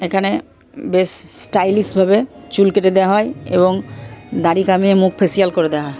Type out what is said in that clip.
এখানে best stylish ভাবে চুল কেটে দেওয়া। হয় এবং দাড়ি কামিয়ে মুখ ফেসিয়াল করে দেওয়া হয়।